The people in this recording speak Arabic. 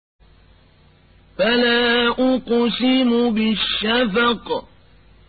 فَلَا أُقْسِمُ بِالشَّفَقِ